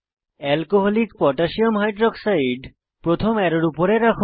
alcoholic potassium hydroxide alcকোহ প্রথম অ্যারোর উপরে রাখুন